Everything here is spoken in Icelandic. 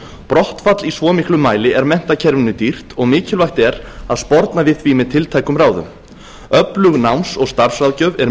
brottfall í svo miklum mæli er menntakerfinu dýrt og mikilvægt er að sporna við því með tiltækum ráðum öflug náms og starfsráðgjöf er